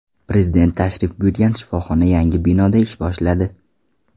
Prezident tashrif buyurgan shifoxona yangi binoda ish boshladi.